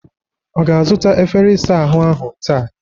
Ọ ga-azụta efere ịsa ahụ ahụ taa?